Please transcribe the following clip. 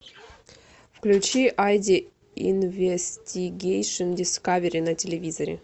включи айди инвестигейшн дискавери на телевизоре